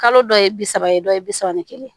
Kalo dɔ ye bi saba ye dɔ ye bi saba ni kelen ye